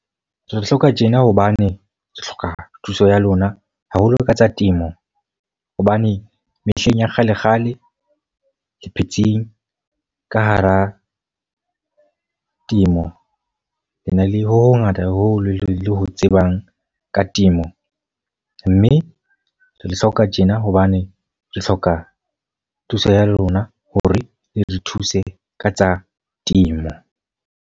Re hloka tjena hobane re hloka thuso ya lona, haholo ka tsa temo. Hobane mehleng ya kgalekgale le phetse ka hara temo. Le na le ho hongata haholo le ho tsebang ka temo. Mme re le hloka tjena hobane re hloka thuso ya lona. Ho re le re thuse ka tsa temo.